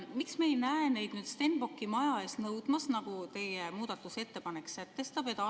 Miks me ei näe neid Stenbocki maja ees nõudmas seda, mida teie muudatusettepanek sätestab?